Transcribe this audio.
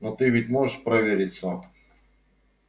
но ты ведь можешь проверить сам